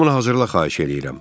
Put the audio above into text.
Hamını hazırla, xahiş eləyirəm.